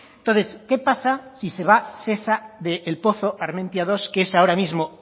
entonces qué pasa si se va shesa del pozo armentia dos que es ahora mismo